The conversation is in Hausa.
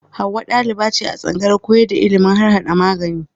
Hauwa ɗaliba ce a tsangayar koyar da ilimin harhaɗa magani.